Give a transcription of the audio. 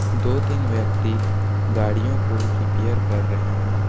दो तीन व्यक्ति गाड़ियों को रिपेयर कर रहे हैं।